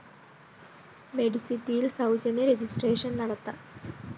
മെഡി സിറ്റിയില്‍ സൗജന്യ registration നടത്താം